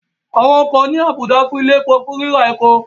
Àwọn ọkọ̀ ní àbùdá bíi ilẹ̀ epo fún ríra epo